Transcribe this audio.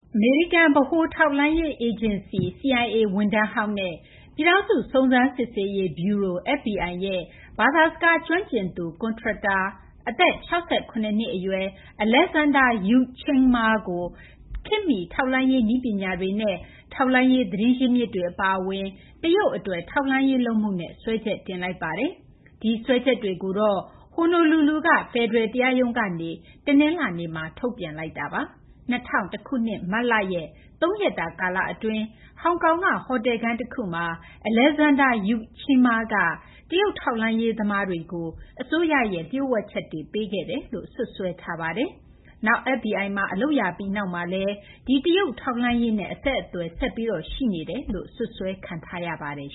အမေရိကန် ဗဟိုထောက်လှမ်းရေး အေဂျင်စီ CIA ဝန်ထမ်းဟောင်းနဲ့ ပြည်ထောင်စု စုံစမ်းစစ်ဆေးရေး ဗျူရို FBI ရဲ့ ဘာသာ စကားကျွမ်းကျင်သူ ကွန်ထရက်တာဟောင်း အသက် ၆၇ နှစ် အရွယ် Alexander Yuk Ching Ma ကို ခေတ်မီ ထောက်လှမ်းရေး နည်းပညာတွေနဲ့ ထောက်လှမ်းရေး သတင်းရင်းမြစ်တွေ အပါအဝင် တရုတ် အတွက် ထောက်လှမ်းရေး လုပ်မှုနဲ့ စွဲချက်တင်လိုက်ပါတယ်။ ဒီစွဲချက်တွေကိုတော့ Honolulu က ဖယ်ဒရယ် တရားရုံးကနေ တနလာၤနေ့မှာ ထုတ်ပြန်လိုက်တာပါ။ ၂၀၀၁ ခုနှစ် မတ်လ ရဲ့ သုံးရက်တာ ကာလအတွင်း ဟောင်ကောင်က ဟိုတယ်ခန်း တခုမှာ Alexander Yuk Chin Ma က တရုတ် ထောက်လှမ်းရေး သမားတွေကို အစိုးရရဲ့ လျှို့ဝှက်ချက်တွေ ပေးခဲ့တယ်လို့ စွပ်စွဲထားပါတယ်။ နောက် FBI မှာ အလုပ်ရပြီး နောက်မှာလည်း ဒီတရုတ် ထောက်လှမ်းရေးနဲ့ အဆက်အသွယ် ဆက်ရှိနေခဲ့တယ်လို့ စွပ်စွဲထားပါတယ်